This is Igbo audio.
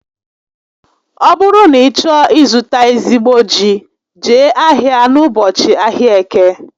Ọ bụrụ na ị chọọ ị zụta ezigbo ji, Jee ahia n'ụbọchị ahịa Eke